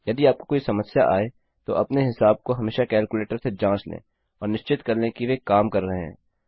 यदि आपको कोई समस्या आए तो अपने हिसाब को हमेशा कैलकुलेटर से जाँच लें और निश्चित कर लें कि वे काम कर रहे हैं